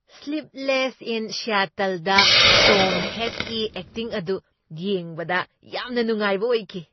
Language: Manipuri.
ꯁ꯭ꯂꯤꯞꯂꯦꯁ ꯏꯟ ꯁꯤꯌꯥꯇꯜ ꯗ ꯇꯣꯝ ꯍꯦꯡ꯭ꯛꯀꯤ ꯑꯦꯛꯇꯤꯡ ꯑꯗꯨ ꯌꯦꯡꯕꯗ ꯌꯥꯝꯅ ꯅꯨꯡꯉꯥꯏꯕ ꯑꯣꯏꯈꯤ ꯫